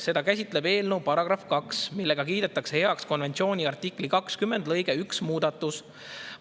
Seda käsitleb eelnõu § 2, millega kiidetakse heaks konventsiooni artikli 20 lõike 1 muudatus.